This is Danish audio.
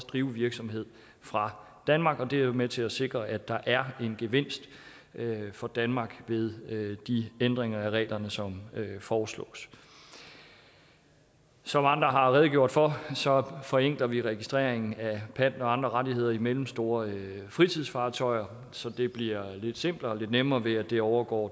drive virksomhed fra danmark og det er med til at sikre at der er en gevinst for danmark ved de ændringer af reglerne som foreslås som andre har redegjort for så forenkler vi registreringen af pant og andre rettigheder i mellemstore fritidsfartøjer så det bliver lidt simplere og nemmere ved at det overgår